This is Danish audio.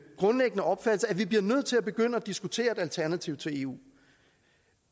grundlæggende opfattelse at vi bliver nødt til at begynde at diskutere et alternativ til eu